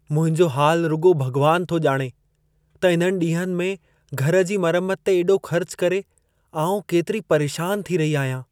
मुंहिंजो हालु रुॻो भॻवानु थो ॼाणे त इन्हनि ॾींहंनि में घर जी मरमत ते एॾो ख़र्चु करे, आउं केतिरी परेशानु थी रही आहियां।